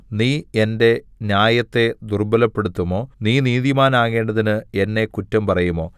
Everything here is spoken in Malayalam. നീ എന്റെ ന്യായത്തെ ദുർബ്ബലപ്പെടുത്തുമോ നീ നീതിമാനാകേണ്ടതിന് എന്നെ കുറ്റം പറയുമോ